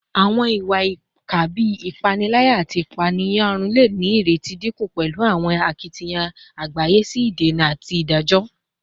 Awọn iwa-ipa bii ipanilaya ati ipaeyarun le ni ireti dinku pẹlu awọn akitiyan agbaye si idena ati idajọ